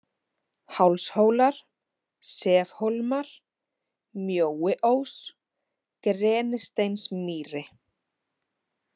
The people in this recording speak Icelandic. Hálshólar, Sefhólmar, Mjóiós, Grenisteinsmýri